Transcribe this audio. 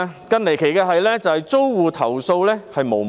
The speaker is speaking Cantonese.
更離奇的是，租戶投訴無門。